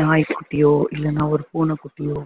நாய்க்குட்டியோ இல்லன்னா ஒரு பூனைக்குட்டியோ